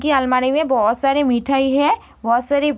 की अलमारी में बहुत सारी मिठाई है बहुत सारी --